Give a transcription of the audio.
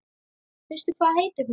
Veistu hvað heitir hún?